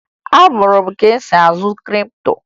Amụrụ m ka esi azụ kripto